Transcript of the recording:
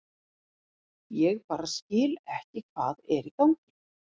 Ég bara skil ekki hvað er í gangi.